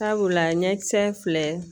Sabula ɲɛkisɛ filɛ